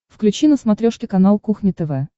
включи на смотрешке канал кухня тв